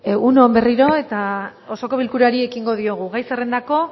egun on berriro eta osoko bilkurari ekingo diogu gai zerrendako